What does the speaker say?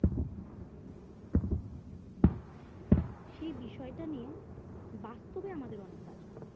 সে বিষয়টা নিয়ে বাস্তুজ্ঞান আমাদের অনেক কাজ করবে